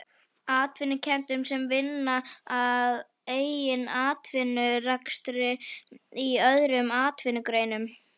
Atvinnurekendum sem vinna að eigin atvinnurekstri í öðrum atvinnugreinum.